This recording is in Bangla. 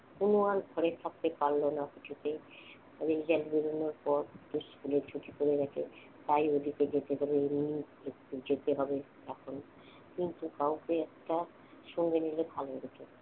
কোন আর ঘরে থাকতে পারলো না কিছুতেই result বেরোনোর পর স্কুলের ছুটি পড়ে গেছে। তাই ওদিকে যেতে গেলে এমনি যেতে হবে এখন কিন্তু কাউকে একটা সঙ্গে নিলে ভালো হতো।